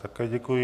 Také děkuji.